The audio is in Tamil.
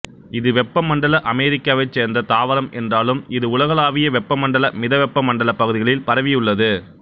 இது வெப்பமண்டல அமெரிக்காவைச் சேர்ந்த தாவரம் என்றாலும் இது உலகளாவிய வெப்பமண்டல மிதவெப்ப மண்டலப் பகுதிகளில் பரவியுள்ளது